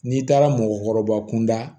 N'i taara mɔgɔkɔrɔba kunda